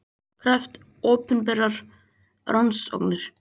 Krefst opinberrar rannsóknar